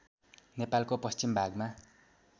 नेपालको पश्चिम भागमा